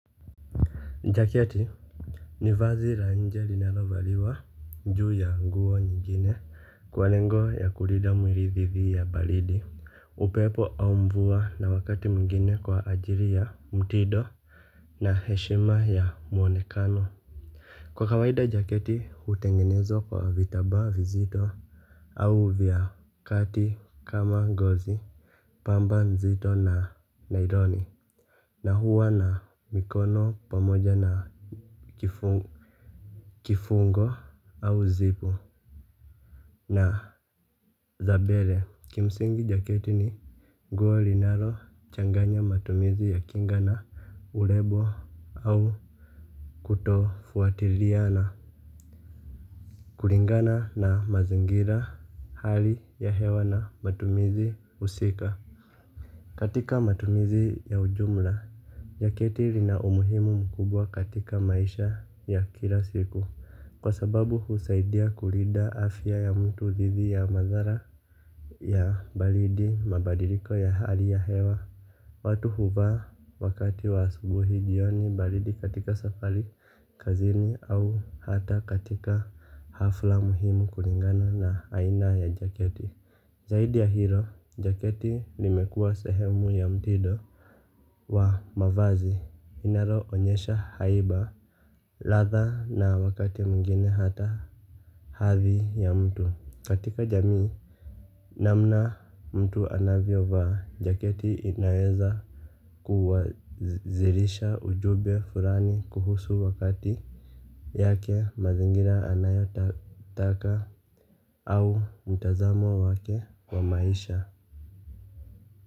Jaketi, ni vazi la nje linalovaliwa, njuu ya nguo nyingine, kwa lengo ya kulida mwiri thithi ya balidi, upepo au mvua na wakati mwingine kwa ajiri ya, mtido na heshima ya mwonekano. Kwa kawaida jaketi, hutengenezwa kwa vitabaa vizito, au vyakati kama ngozi, pamba nzito na naironi. Na huwa na mikono, pamoja na kifungu. Kifungo, au zipu na, zabele. Kimsingi jaketi ni, nguo linalo changanya matumizi ya kinga na urebo au kutofuatiriana. Kuringana na mazingira, hali ya hewa na matumizi husika, katika matumizi ya ujumla. Jaketi lina umuhimu mkubwa katika maisha ya kila siku. Kwa sababu husaidia kurida afya ya mtu thithi ya madhara ya, balidi mabadiliko ya hali ya hewa, watu huvaa wakati wa asubuhi, jioni, baridi katika safari kazini au hata katika hafla muhimu kuringana na aina ya jaketi. Zaidi ya hilo, jaketi limekua sehemu ya mtido wa, mavazi, inaroonyesha haiba, latha na wakati mwingine hata hathi ya mtu. Katika jamii, namna mtu anavyo vaa, jaketi inaweza kuwazirisha ujube furani kuhusu wakati, yake, mazingira anayo taka au, mtazamo wake wa maisha.